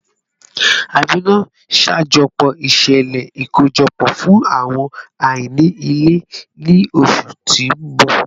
Amina, ṣajọpọ iṣẹlẹ ikojọpọ fun awọn aini ile ni oṣu ti n bọ